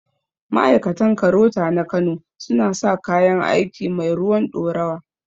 Ma'aikatan KAROTA na kano su na saka kayan aiki mai ruwan ɗorawa